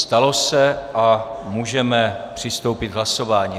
Stalo se a můžeme přistoupit k hlasování.